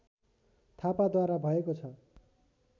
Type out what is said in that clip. थापाद्वारा भएको छ